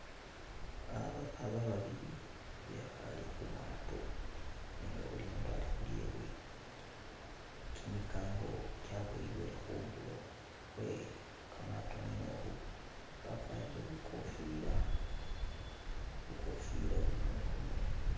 Uh bapapa babili bekhale khulyato nenga buli umundu ali khulyewe, kimikango kyaboyebwele khundulo khwe kamaato mwene ukhu bakwarire bukofila! Bukofila buli umundu khumurwe.